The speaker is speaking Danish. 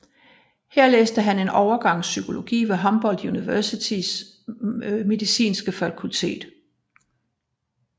Her læste han en overgang psykologi ved Humboldt Universitetets medicinske fakultet